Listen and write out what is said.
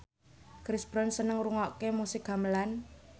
Chris Brown seneng ngrungokne musik gamelan